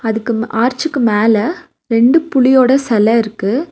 அதுக்கு ம் ஆர்ச்சுக்கு மேல ரெண்டு புலியோட செல இருக்கு.